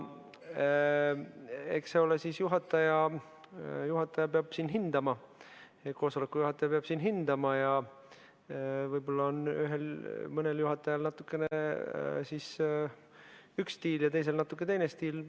Eks siis juhataja peab hindama, koosoleku juhataja peab hindama ja võib-olla on mõnel juhatajal natukene üks stiil ja teisel natukene teine stiil.